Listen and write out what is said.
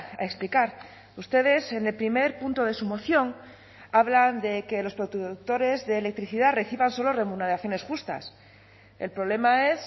a explicar ustedes en el primer punto de su moción hablan de que los productores de electricidad reciban solo remuneraciones justas el problema es